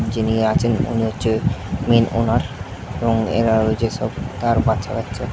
যিনি আচেন উনি হচ্ছে মেইন ওনার এবং এরা সব তার বাচ্চা কাচ্চা।